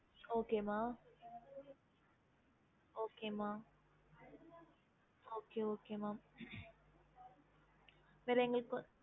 okey mam rangoli கோலம் வேணுமா அவ்ளோதா okey